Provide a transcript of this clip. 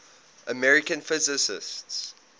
american physicists